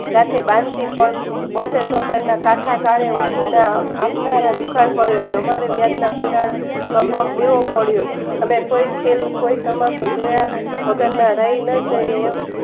સાથે બાંશી સૌ બોતેર ચોતેરના ટાકા ચાળે ઉછીના આપનારા દુકાળ પડ્યો રેય અમારી વ્યાજના કુંડાળા માં પગ દેવો પડ્યો અને તોય તમાશો જોયા વગરના રે ન જઈએ